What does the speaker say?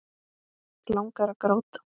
Langar að gráta.